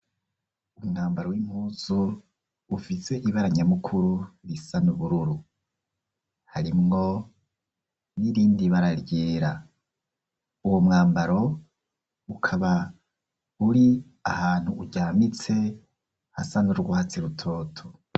Umwambaro w'impuzu, ufise ibara nyamukuru, risa n'ubururu; harimwo n'irindi bara ryera; uwo mwambaro, ukaba uri ahantu uryamitse, hasa n'urwatsi rutoto.